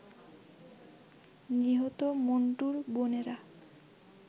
নিহত মন্টুর বোনেরা